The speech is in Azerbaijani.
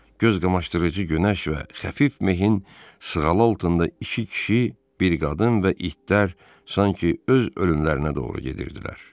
Göz qamaşdırıcı günəş və xəfif mehin sığalı altında iki kişi, bir qadın və itlər sanki öz ölümlərinə doğru gedirdilər.